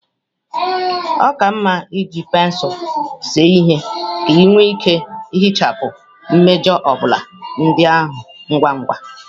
Ọ ka mma iji pensụl see ihe ka ị nwee ike ihichapụ mmejọ obula ndị ahụ ngwa ngwa